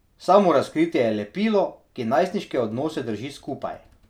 Samorazkritje je lepilo, ki najstniške odnose drži skupaj.